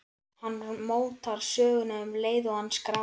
Hann mótar söguna um leið og hann skráir.